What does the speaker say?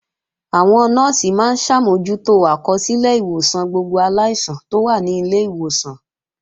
Àwọn Nọ́ọ̀sì máa ń ṣàmójútó àkọsílẹ̀ ìwòsàn gbogbo aláìsàn tó wà ní ilé ìwòsàn